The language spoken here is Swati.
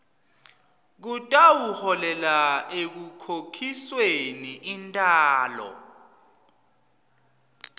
kutawuholela ekukhokhisweni intalo